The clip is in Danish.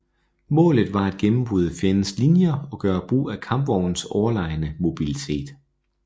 Målet var at gennembryde fjendens linjer og gøre brug af kampvognens overlegne mobilitet